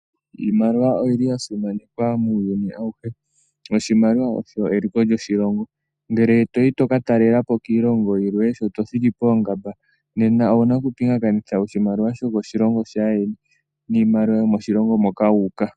Iimaliwa oyili ya simanekwa muuyuni awuhe noshimaliwa osho eliko lyoshilongo. Ngele toyi to ka talela po kiilongo yilwe sho to thiki poongamba nena owuna okupingakanitha oshimaliwa sho koshilongo shaayeni niimaliwa yomoshilongo moka wu uka.